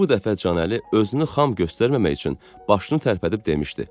Bu dəfə Canəli özünü xam göstərməmək üçün başını tərpədib demişdi.